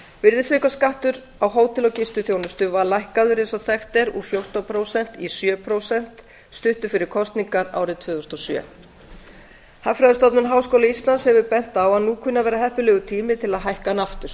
virðisaukaskattur á hótel og gistiþjónustu var lækkaður eins og þekkt er úr fjórtán prósent í sjö prósent stuttu fyrir kosningar árið tvö þúsund og sjö hagfræðistofnun háskóla íslands hefur bent á að nú kunni að vera heppilegur tími til að hækka hann aftur